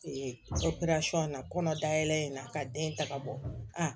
na kɔnɔdayɛlɛ in na ka den ta ka bɔ a